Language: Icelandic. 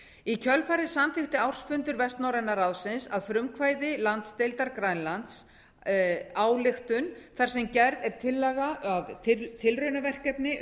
í kjölfarið samþykkti ársfundur vestnorræna ráðsins að frumkvæði landsdeildar grænlands ályktun þar sem gerð er tillaga að tilraunaverkefni